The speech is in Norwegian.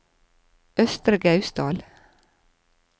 Østre Gausdal